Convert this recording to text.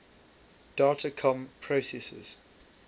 data comm processors